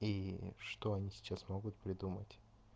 и что они сейчас могут придумать